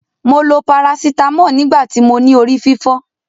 Mo lo paracetamol nigbati mo ni ori fifo.